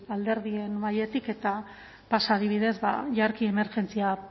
alderdien mahaietik eta pasa adibidez jarki emergentzia